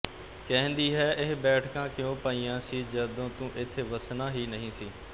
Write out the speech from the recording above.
ਕਹਿੰਦੀ ਹੈ ਇਹ ਬੈਠਕਾਂ ਕਿਉਂ ਪਾਈਆਂ ਸੀ ਜਦੋਂ ਤੂੰ ਇੱਥੇ ਵੱਸਣਾ ਹੀ ਨਹੀਂ ਸੀ